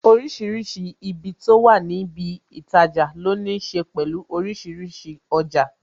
Orísìírísìí ibi tó wà ní ibi itaja, ló ní ṣe pẹ̀lú orísìírísìí ọjà